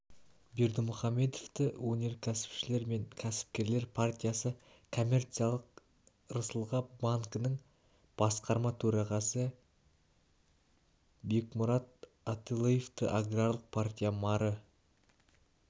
бердымухамедовті өнеркәсіпшілер мен кәсіпкерлер партиясы коммерциялық рысгал банкінің басқарма төрағасы бегмырат аталыевті аграрлық партия мары